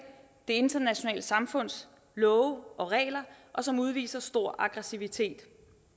det internationale samfunds love og regler og som udviser stor aggressivitet